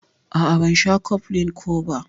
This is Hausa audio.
A'a ban sha cofflin ko ba.